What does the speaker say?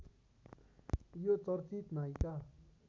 यो चर्चित नायिका